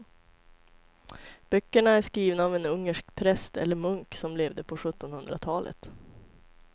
Böckerna är skrivna av en ungersk präst eller munk som levde på sjuttonhundratalet.